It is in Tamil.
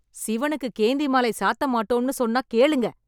சிவனுக்கு கேந்தி மாலை சாத்த மாட்டோம்ன்னு சொன்னா கேளுங்க.